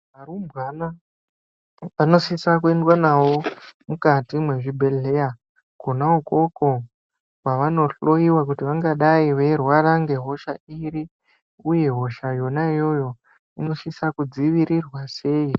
Arumbwana anosisa kuendwa nawo mukati mwezvibhedhleya kona ikoko kwavanohloiwa kuti vangadai veirwara ngehosha iri uye hosha yona iyoyo inosisa kudzivirirwa sei.